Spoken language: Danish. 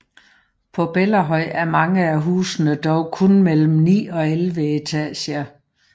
På Bellahøj er mange af husene dog kun mellem 9 og 11 etager